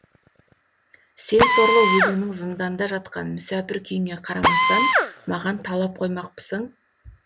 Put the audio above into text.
сен сорлы өзіңнің зыңданда жатқан мүсәпір күйіңе қарамастан маған талап қоймақпысың